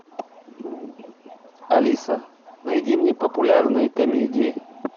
алиса найди мне популярные комедии